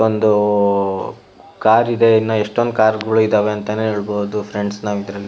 ಒಂದು ಕಾರ್ ಇದೆ ಇನ್ನ ಎಷ್ಟೊಂದ್ ಕಾರ್ಗಳು ಇದೆ ಅಂತ ಹೆಲಬೊಡು ಫ್ರೆಂಡ್ಸ್ ನಾವ್ ಇದ್ರಲ್ಲಿ --